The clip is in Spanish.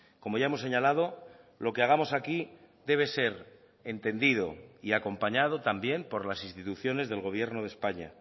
como ya hemos señalado lo que hagamos aquí debe ser entendido y acompañado también por las instituciones del gobierno de españa